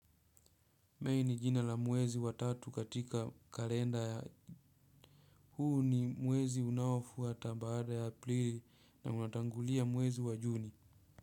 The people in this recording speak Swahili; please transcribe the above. Mei ni jina la muwezi wa tatu katika kalenda ya huu ni muwezi unaofuata baada ya aprili na unatangulia muwezi wa juni.